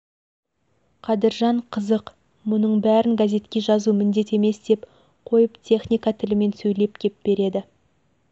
қадыржан қызық мұның бәрін газетке жазу міндет емес деп қойып техника тілімен сөйлеп кеп береді